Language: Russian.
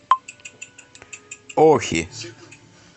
охи